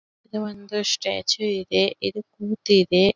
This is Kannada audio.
ಇದು ಒಂದು ಸ್ಟ್ಯಾಚು ಇದೆ ಇದು ಕೂತ ಇದೆ.